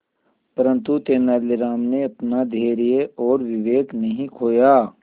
परंतु तेलानी राम ने अपना धैर्य और विवेक नहीं खोया